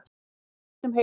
Nýtt tímarit um heilsu